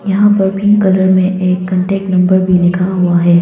यहां पर pink colour में एक कांटेक्ट नंबर भी लिखा हुआ है।